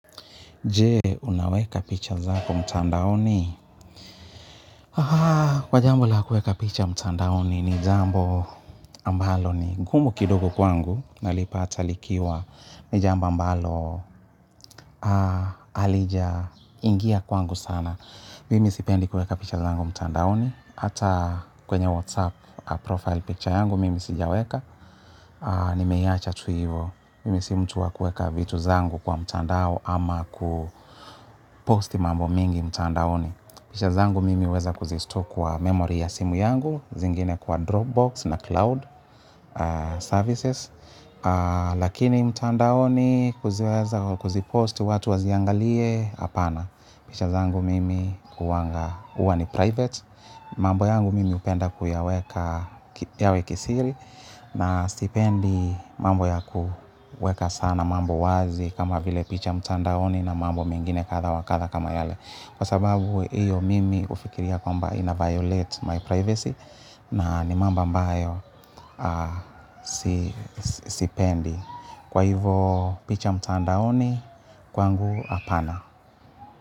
Je, unaweka picha zako mtandaoni? Haa, kwa jambo la kuweka picha mtandaoni ni jambo ambalo ni gumu kidogo kwangu. Nalipata likiwa ni jambo ambalo halijaingia kwangu sana. Mimi sipendi kuweka picha zangu mtandaoni. Hata kwenye WhatsApp profile picture yangu mimi sijaweka. Nimeiacha tu hivyo. Mimi si mtu wa kuweka vitu zangu kwa mtandao ama kuposti mambo mingi mtandaoni. Pisha zangu mimi huweza kuzistore kwa memory ya simu yangu, zingine kwa Dropbox na Cloud Services. Lakini mtandaoni kuziweza kuziposti watu waziangalie hapana. Picha zangu mimi huwanga huwa ni private. Mambo yangu mimi hupenda kuyaweka yawe kisiri, na sipendi mambo yakuweka sana mambo wazi kama vile picha mtandaoni na mambo mengine kadha wa kadha kama yale. Kwasababu hiyo mimi hufikiria kwamba ina violate my privacy na ni mambo ambayo sipendi. Kwa hivyo picha mtandaoni kwangu hapana.